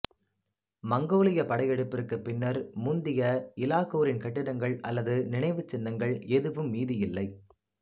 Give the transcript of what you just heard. மங்கோலியப் படையெடுப்பிற்குப் பின்னர் முந்திய இலாகூரின் கட்டிடங்கள் அல்லது நினைவுச்சின்னங்கள் எதுவும் மீதியில்லை